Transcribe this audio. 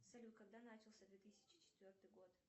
салют когда начался две тысячи четвертый год